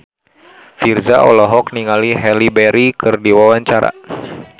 Virzha olohok ningali Halle Berry keur diwawancara